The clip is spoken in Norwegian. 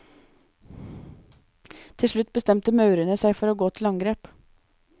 Til slutt bestemte maurene seg for å gå til angrep.